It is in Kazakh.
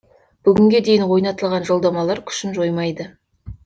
бүгінге дейін ойнатылған жолдамалар күшін жоймайды